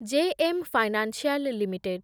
JM financial limited